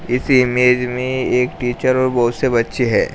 इस इमेज में एक टीचर और बहुत से बच्चे है।